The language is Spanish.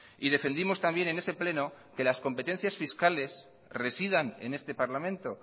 y defendimos también en ese pleno que las competencias fiscales residan en este parlamento